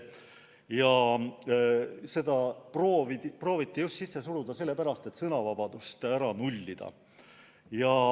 Seda prooviti sisse suruda just sellepärast, et sõnavabadust nullida.